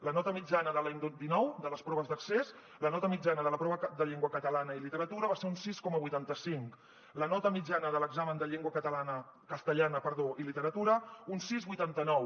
la nota mitjana de l’any dinou de les proves d’accés la nota mitjana de la prova de llengua catalana i literatura va ser un sis coma vuitanta cinc la nota mitjana de l’examen de llengua castellana i literatura un sis coma vuitanta nou